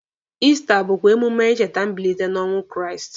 Ista bụkwa emume ịcheta mbilite n'ọnwa Kraịst.